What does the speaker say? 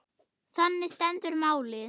Þannig stendur málið.